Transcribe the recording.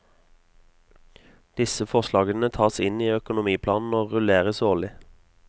Disse forslagene tas inn i økonomiplanen og rulleres årlig.